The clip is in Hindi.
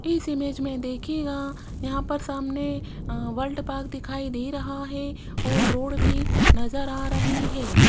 इस इमेज में देखिएगा यहां पर सामने अ वर्ल्ड पार्क दिखाई नहीं रहा है और रोड भी नजर आ रही है।